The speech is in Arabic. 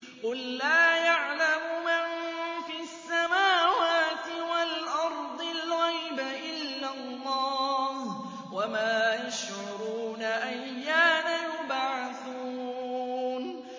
قُل لَّا يَعْلَمُ مَن فِي السَّمَاوَاتِ وَالْأَرْضِ الْغَيْبَ إِلَّا اللَّهُ ۚ وَمَا يَشْعُرُونَ أَيَّانَ يُبْعَثُونَ